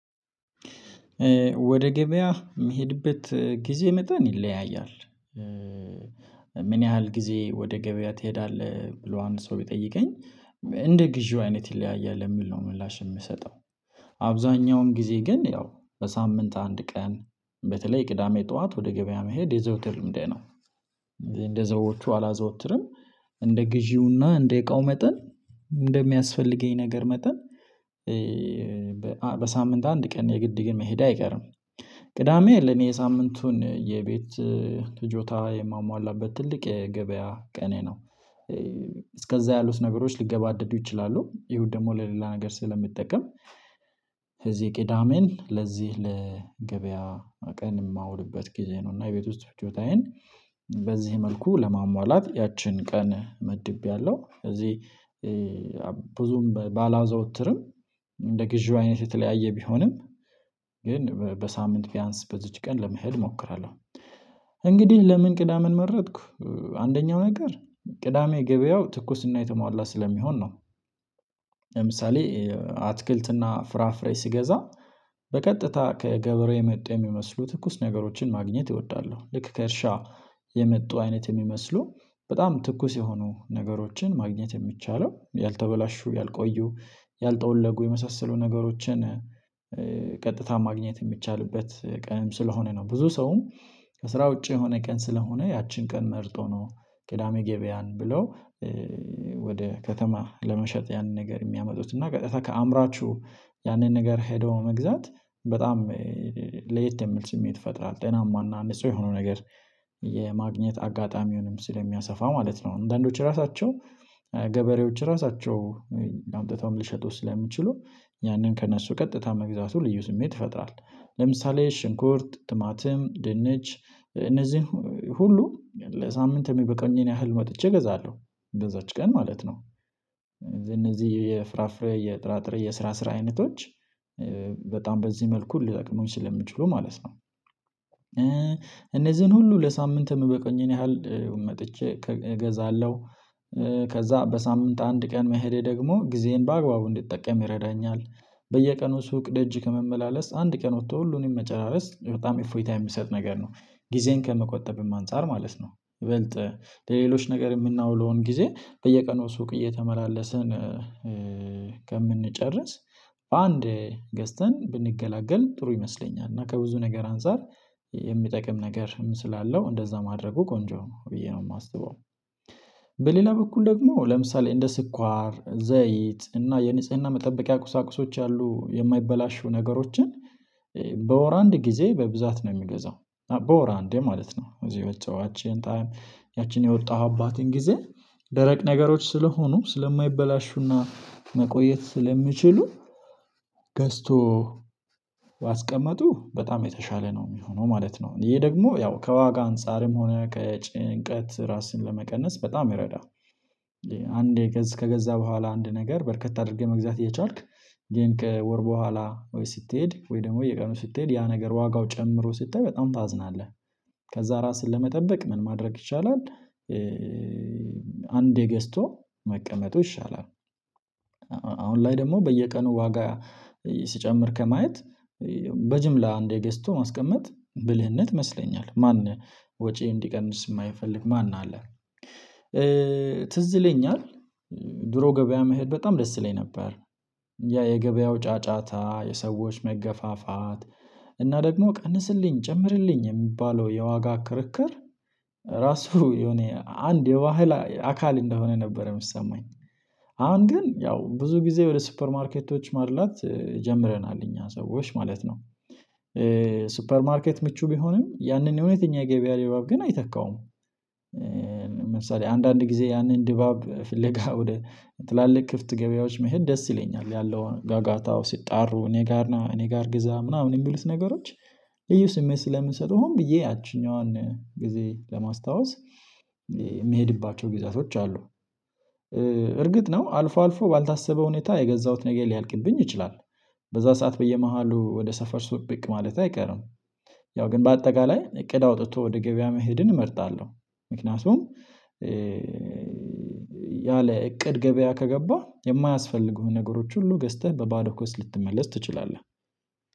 ወደ ገበያ የምሄድበት ጊዜ መጠን ይለያያል። ምን ያህል ጊዜ ወደ ገበያ ትሄዳለህ? ብሎ አንድ ሰው ቢጠይቀኝ እንደ ግዢው አይነት ይለያያል የሚል ነው ምላሽ የምሰጠው። አብዛኛውን ጊዜ ግን ያው በሳምንት አንድ ቀን በተለይ ቅዳሜ ጠዋት ወደ ገበያ መሄድ የዘውትር ልምዴ ነው። እንደ ሰዎቹ አላዘወትርም። እንደ ግዢውና እንደ እቃው መጠን እንደሚያስፈልገኝ ነገር መጠን በሳምንት አንድ ቀን የግድ ግን መሄዴ አይቀርም። ቅዳሜ ለእኔ የሳምንቱን የቤት ፍጆታ የማሟላበት ትልቅ የገበያ ቀኔ ነው። እስከዛ ያሉት ነገሮች ሊገባደዱ ይችላሉ። እሁድ ደግሞ ለሌላ ነገር ስለሚጠቀም እዚህ ቅዳሜን ለዚህ ለገበያ ቀን የማውልበት ጊዜ ነው። እና የቤት ውስጥ ፍጆታዬን በዚህ መልኩ ለማሟላት ያችን ቀን መድቤያለሁ። እዚህ ብዙም ባላዘወትርም እንደ ግዢው አይነት የተለያየ ቢሆንም ግን በሳምንት ቢያንስ በዚች ቀን ለመሄድ እሞክራለሁ። እንግዲህ ለምን ቅዳሜን መረጥኩ? አንደኛው ነገር ቅዳሜ ገበያው ትኩስና የተሟላ ስለሚሆን ነው። ለምሳሌ አትክልትና ፍራፍሬ ስገዛ በቀጥታ ከገበሬ የመጣ የሚመስሉ ትኩስ ነገሮችን ማግኘት እወዳለሁ። ልክ ከእርሻ የመጡ አይነት የሚመስሉ በጣም ትኩስ የሆኑ ነገሮችን ማግኘት የሚቻለው ያልተበላሹ ያልቆዩ ያልጠወለጉ የመሳሰሉ ነገሮችን ቀጥታ ማግኘት የሚቻልበት ቀንም ስለሆነ ነው። ብዙ ሰውም ከስራ ውጪ የሆነ ቀን ስለሆነ ያችን ቀን መርጦ ነው ቅዳሜ ገበያን ብለው ወደ ከተማ ለመሸጥ ያንን ነገር የሚያመጡት። እና በቀጥታ ከአምራችሁ ያንን ነገር ሄዶ መግዛት በጣም ለየት የሚል ስሜት ይፈጥራል። ጤናማና አንድ ሰው የሆነው ነገር የማግኘት አጋጣሚውንም ስለሚያሰፋ ማለት ነው። አንዳንዶች ራሳቸው ገበሬዎች ራሳቸው አምጥተውም ሊሸጡ ስለሚችሉ ያንን ከእነሱ ቀጥታ መግዛቱ ልዩ ስሜት ይፈጥራል። ለምሳሌ ሽንኩርት ቲማቲም ድንች እነዚህን ሁሉ ለሳምንት የሚበቃኝን ያህል ወጥቼ እገዛለሁ። በዛች ቀን ማለት ነው። እነዚህ የፍራፍሬ የጥራጥሬ የስራ ስራ አይነቶች በጣም በዚህ መልኩ ሊጠቅሙኝ ስለሚችሉ ማለት ነው። እነዚህን ሁሉ ለሳምንት የሚበቃኝን ያህል መጥቼ እገዛለሁ። ከዛ በሳምንት አንድ ቀን መሄዴ ደግሞ ጊዜን በአግባቡ እንዲጠቀም ይረዳኛል። በየቀኑ ሱቅ ደጅ ከመመላለስ አንድ ቀን ወጥቶ ሁሉንም መጨራረስ በጣም እፎይታ የሚሰጥ ነገር ነው። ጊዜን ከመቆጠብም አንፃር ማለት ነው። ይበልጥ ለሌሎች ነገር የምናውለውን ጊዜ በየቀኑ ሱቅ እየተመላለስን ከምንጨርስ በአንዴ ገዝተን ብንገላገል ጥሩ ይመስለኛል። እና ከብዙ ነገር አንፃር የሚጠቅም ነገር ምን ስላለው እንደዛ ማድረጉ ቆንጆ ነው ብዬ ነው የማስበው። በሌላ በኩል ደግሞ ለምሳሌ እንደ ስኳር ዘይት እና የንጽህና መጠበቂያ ቁሳቁሶች ያሉ የማይበላሹ ነገሮችን በወር አንድ ጊዜ በብዛት ነው የምገዛው፤ በወር አንዴ ማለት ነው። እዚህ ያቺን የወጣሁባትን ጊዜ ደረቅ ነገሮች ስለሆኑ ስለማይበላሹና መቆየት ስለሚችሉ ገዝቶ ማስቀመጡ በጣም የተሻለ ነው የሚሆነው ማለት ነው። ይሄ ደግሞ ያው ከዋጋ አንፃርም ሆነ ከጭንቀት ራስን ለመቀነስ በጣም ይረዳል። አንዴ ገዝ ከገዛ በኋላ አንድ ነገር በርከት አድርገህ መግዛት እየቻልክ ግን ከወር በኋላ ወይ ስትሄድ ወይ ደግሞ በየቀኑ ስትሄድ ያ ነገር ዋጋው ጨምሮ ስታይ በጣም ታዝናለህ። ከዛ ራስህን ለመጠበቅ ምን ማድረግ ይቻላል። አንዴ ገዝቶ መቀመጡ ይሻላል። አሁን ላይ ደግሞ በየቀኑ ዋጋ ሲጨምር ከማየት በጅምላ አንዴ ገዝቶ ማስቀመጥ ብልህነት ይመስለኛል። ማን ወጪ እንዲቀንስ የማይፈልግ ማን አለ። ትዝ ይለኛል ድሮ ገበያ መሄድ በጣም ደስ ይለኝ ነበር። ያ የገበያው ጫጫታ የሰዎች መገፋፋት እና ደግሞ ቀንስልኝ ጨምርልኝ የሚባለው የዋጋ ክርክር ራሱ የኔ አንድ የባህል አካል እንደሆነ ነበር የሚሰማኝ። አሁን ግን ያው ብዙ ጊዜ ወደ ሱፐር ማርኬቶች ማድላት ጀምረናል እኛ ሰዎች ማለት ነው። ሱፐር ማርኬት ምቹ ቢሆንም ያንን እውነተኛ የገበያ ድባብ ግን አይተካውም። ለምሳሌ አንዳንድ ጊዜ ያንን ድባብ ፍለጋ ወደ ትላልቅ ክፍት ገበያዎች መሄድ ደስ ይለኛል። ያለው ጋጋታው ሲጣሩ እኔ ጋር ና፤ እኔ ጋር ግዛ ምናምን የሚሉት ነገሮች ልዩ ስሜት ስለምንሰጥሁም ብዬ ያቺኛዋን ጊዜ ለማስታወስ የምሄድባቸው ጊዜያቶች አሉ። እርግጥ ነው አልፎ አልፎ ባልታሰበ ሁኔታ የገዛሁት ነገር ሊያልቅብኝ ይችላል። በዛ ሰዓት በየመሃሉ ወደ ሰፈር ብቅ ማለቴ አይቀርም። ያው ግን በአጠቃላይ እቅድ አውጥቶ ወደ ገበያ መሄድን እመርጣለሁ። ምክንያቱም ያለ እቅድ ገበያ ከገባህ የማያስፈልጉህን ነገሮች ሁሉ ገዝተህ በባዶ ኪስ ልትመለስ ትችላለህ።